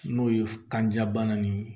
N'o ye kanjabana nin ye